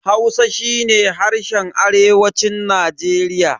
Hausa shi ne harshen arewacin Najeriya.